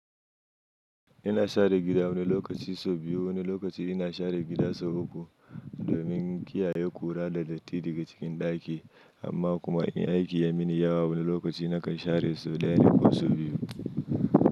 Ina share gida wani lokaci sau biyu, wani lokaci ina share gida sau uku domin kiyaye ƙura da latti daga cikin ɗaki. Amma kuma in aiki ya min yawa wani lokaci na kai share sau ɗaya ne ko sau biyu.